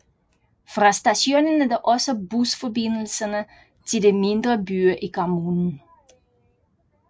Fra stationen er der også busforbindelserne til de mindre byer i kommunen